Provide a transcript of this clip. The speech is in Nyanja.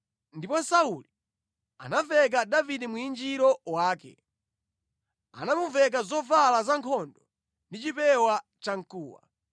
Ndipo Sauli anamveka Davide mwinjiro wake. Anamuveka zovala zankhondo ndi chipewa cha mkuwa.